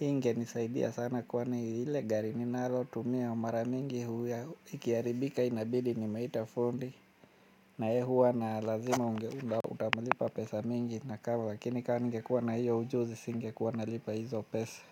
Ingenisaidia sana kwani lile gari ninalotumia mara mingi huwa ikiharibika inabidi nimeita fundi. Na ye huwa na lazima utamalipa pesa mingi na kama lakini kama ningekuwa na hiyo ujuzi singekuwa nalipa hizo pesa.